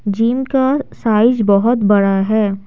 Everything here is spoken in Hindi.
जिम का साइज बहुत बड़ा है।